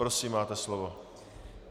Prosím, máte slovo.